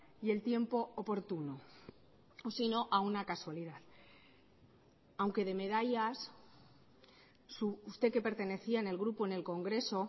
y el tiempo oportuno sino a una casualidad aunque de medallas usted que pertenecía en el grupo en el congreso